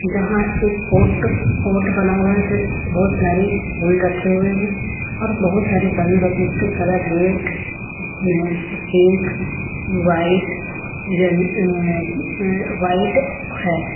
यहां एक pot pot बना हुआ है उसमें बहुत प्यारी फूल रखे हुए हैं और बहुत सारे बैलून रखें इसके कलर रेड है pink white yellow uh white है।